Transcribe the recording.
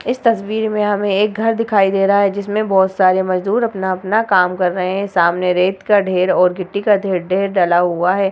इस तस्वीर में हमें एक घर दिखाई दे रहा है जिसमें बहुत सारे मजदूर अपना-अपना काम कर रहे हैं सामने रेत का ढेर और गिट्टी का ढे ढेर डाला हुआ है।